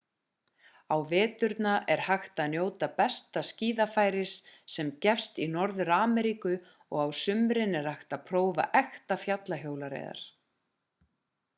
á veturna er hægt að njóta besta skíðafærisins sem gefst í norður-ameríku og á sumrin er hægt að prófa ekta fjallahjólreiðar